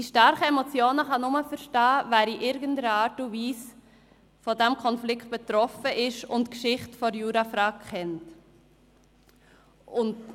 Die starken Emotionen kann nur verstehen, wer in irgendeiner Art und Weise von diesem Konflikt betroffen ist und die Geschichte der Jurafrage kennt.